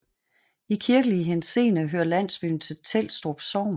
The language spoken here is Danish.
I kirkelig henseende hører landsbyen til Trelstrup Sogn